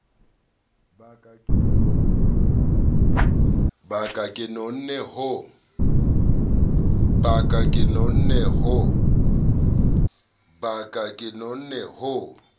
ba ka ke nonne ho